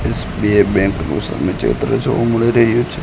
SBI bank નું સામે ચિત્ર જોવા મળી રહ્યું છે.